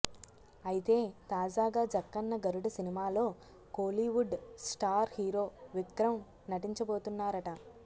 అయితే తాజాగా జక్కన్న గరుడ సినిమాలో కోలీవుడ్ స్టార్ హీరో విక్రమ్ నటించబోతున్నారట